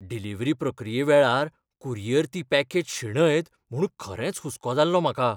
Delivery प्रक्रिये वेळार courier ती पॅकेज शेणयत म्हूण खरेंच हुसको जाल्लो म्हाका.